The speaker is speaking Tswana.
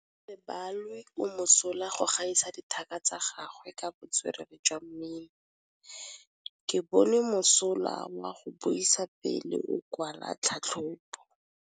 Gaolebalwe o mosola go gaisa dithaka tsa gagwe ka botswerere jwa mmino. Ke bone mosola wa go buisa pele o kwala tlhatlhobô.